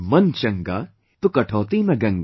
"मन चंगा तो कठौती में गंगा"